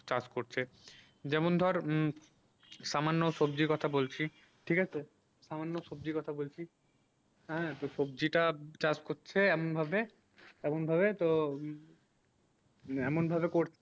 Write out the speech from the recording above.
কাজ করছে যেমন ধর সমান সবজি কথা বলছি ঠিক আছে সমান সবজি কথা বলছি হেঁ তো সবজি তা চাষ এমন ভাবে এমন ভাবে তো মানে এমন ভাবে করছে